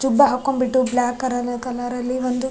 ಜುಬ್ಬ ಹಾಕೊಂಡ್ ಬಿಟ್ಟು black colour ಅಲ್ಲಿ ಒಂದು --